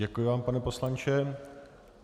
Děkuji vám, pane poslanče.